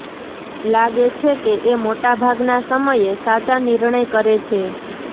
લાગે છે કે એ મોટાભાગના સમયે સાચા નિર્ણય કરે છે